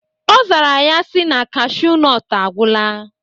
Ọ zara ya si na cashu nọt agwụla.